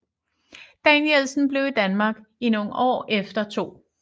Danielsen blev i Danmark i nogen år efter 2